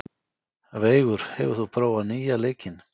Veigur, hefur þú prófað nýja leikinn?